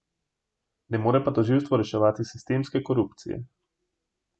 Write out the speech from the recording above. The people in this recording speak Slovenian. Ne more pa tožilstvo reševati sistemske korupcije.